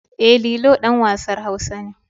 E, Lilo ɗan wasan Hausa ne.